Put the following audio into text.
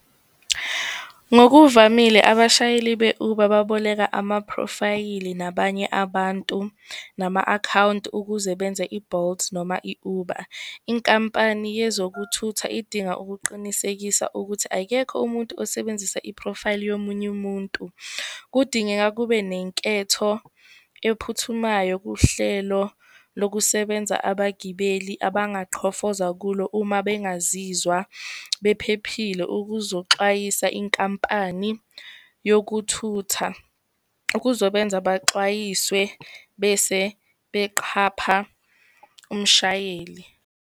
Ngokuvamile, abashayeli be-Uber baboleka amaphrofayili, nabanye abantu, nama-akhawunti ukuze benze i-Bolt noma i-Uber. Inkampani yezokuthutha idinga ukuqinisekisa ukuthi akekho umuntu osebenzisa i-profile yomunye umuntu. Kudingeka kube nenketho ephuthumayo kuhlelo lokusebenza abagibeli abangaqhofoza kulo uma bengazizwa bephephile, ukuzoxwayisa inkampani yokuthutha. Kuzobenza baxwayiswe bese beqhapha umshayeli.